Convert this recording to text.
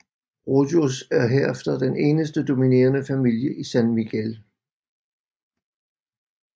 Rojos er herefter den eneste dominerende familie i San Miguel